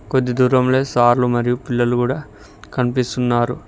కొద్ది దూరంలో సార్లు మరియు పిల్లలు కూడా కనిపిస్తున్నారు.